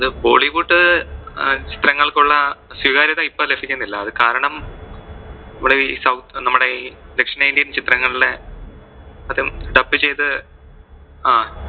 ആ അത് bollywood അഹ് ചിത്രങ്ങൾക്ക് ഉള്ള സ്വികാര്യത ഇപ്പൊ ലഭിക്കുന്നില്ല. അത് കാരണം നമ്മുടെ ഈ south നമ്മുടെ ദക്ഷിണേന്ത്യൻ ചിത്രങ്ങളിലെ അതും dub ചെയ്ത് ആ